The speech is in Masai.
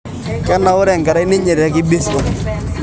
Keinaure anakerai ninje tekibisiong